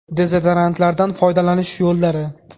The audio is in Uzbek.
Dezodorantlardan foydalanish yo‘llari.